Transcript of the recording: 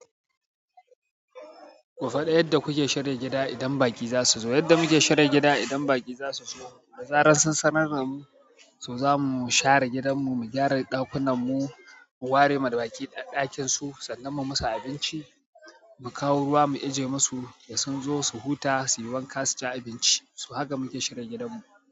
Ku faɗi, yadda kuke shirya gida idan baƙi za su zo? Yadda muke shirya gida idan baƙi za su zo, da zarar sun sanar da mu, to zamu share gidanmu, mu gyara ɗakunanmu, mu ware ma baƙi ɗakin su, sannan mu musu abinci, mu kawo ruwa mu ijiye musu, da sun zo su huta, su yi wanka su ci abinci, su haka muke shirya gidanmu.